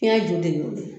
Fiɲɛ ju de y'o ye